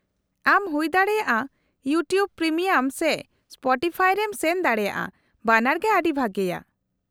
-ᱟᱢ ᱦᱩᱭᱫᱟᱲᱮᱭᱟᱜᱼᱟ YouTube premium ᱥᱮ ᱥᱯᱚᱴᱤᱯᱷᱟᱭ ᱨᱮᱢ ᱥᱮᱱ ᱫᱟᱲᱮᱭᱟᱜᱼᱟ, ᱵᱟᱱᱟᱨ ᱜᱮ ᱟᱹᱰᱤ ᱵᱷᱟᱹᱜᱤᱭᱟ ᱾